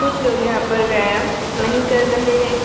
कुछ लोग यहाँ पर व्यायाम नहीं कर रहे है।